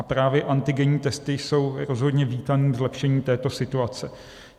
A právě antigenní testy jsou rozhodně vítaným zlepšením této situace.